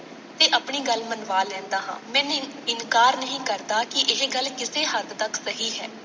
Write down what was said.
ਮੈਂ ਨੀ ਇਨਕਾਰ ਨਹੀਂ ਕਰਦਾ ਕਿ ਇਹ ਗੱਲ ਕਿਸੇ ਹੱਦ ਤੱਕ ਸਹੀ ਹੈ। ਤੇ ਆਪਣੀ ਗੱਲ ਮਨਵਾ ਲੈਂਦਾ ਹਾਂ।